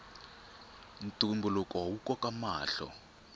ntumbuluko wu koka mahlo